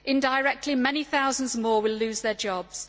Indirectly many thousands more will lose their jobs.